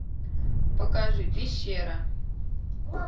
покажи пещера